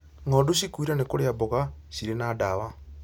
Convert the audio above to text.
Ng'ondu cikuire nĩ kũrĩa mboga cirĩ na dawa